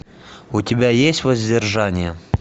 у тебя есть воздержание